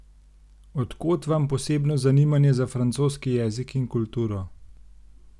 Od kod vam posebno zanimanje za francoski jezik in kulturo?